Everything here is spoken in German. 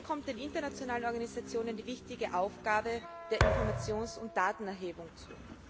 Hier kommt den internationalen Organisationen die wichtige Aufgabe der Informations und Datenerhebung zu.